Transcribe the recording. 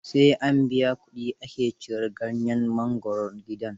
Sai an biya kuɗi ake cirar ganyen mangwaro gidan.